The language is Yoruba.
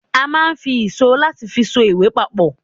a ma n fi ìsó latí fi só ìwè papò